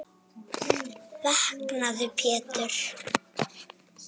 Vaknaðu Pétur.